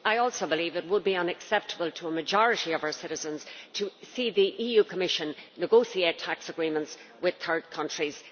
I also believe it would be unacceptable to a majority of our citizens to see the EU Commission negotiate tax agreements with third countries.